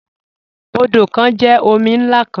Odo kan jẹ omi nlá kan.